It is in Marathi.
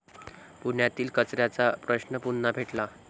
पुण्यातील कचऱ्याचा प्रश्न पुन्हा पेटला